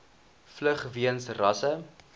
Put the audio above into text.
vlug weens rasse